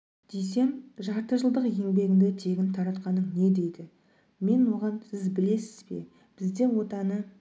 десем жарты жылдық еңбегіңді тегін таратқаның не дейді мен оған сіз білесіз бе бізде отаны